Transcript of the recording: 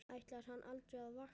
Ætlar hann aldrei að vakna?